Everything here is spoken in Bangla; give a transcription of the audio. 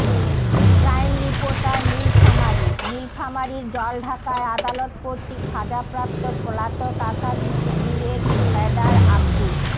ক্রাইমরিপোর্টার নীলফামারীঃ নীলফামারীর জলঢাকায় আদালত কর্তৃক সাজাপ্রাপ্ত পলাতক আসামী শিবিরেরর ক্যাডার আব্দু